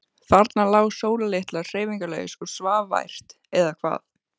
Þarna lá Sóla litla hreyfingarlaus og svaf vært. eða hvað?